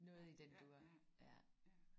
Noget i den dur